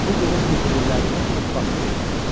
Bu gecə zirzibillərini ört-basdır eləyib.